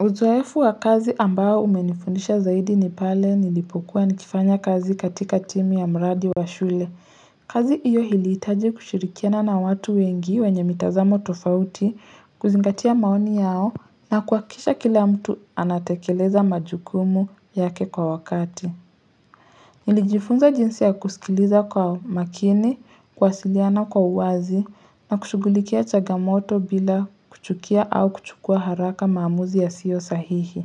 Uzoefu wa kazi ambao umenifundisha zaidi ni pale nilipokuwa nikifanya kazi katika timi ya mradi wa shule. Kazi iyo hiliitaji kushirikiana na watu wengi wenye mitazamo tofauti, kuzingatia maoni yao na kuakisha kila mtu anatekeleza majukumu yake kwa wakati. Nilijifunza jinsi ya kusikiliza kwa makini, kuwasiliana kwa uwazi, na kushughulikia chagamoto bila kuchukia au kuchukua haraka maamuzi yasio sahihi.